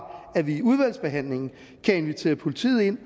at vi i udvalgsbehandlingen kan invitere politiet ind